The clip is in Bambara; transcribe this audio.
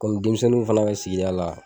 komi denmisɛnninw fɛnɛɛ be sigida la